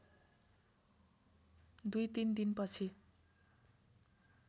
दुई तिन दिनपछि